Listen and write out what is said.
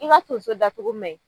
I ma tonso datugu mɛ?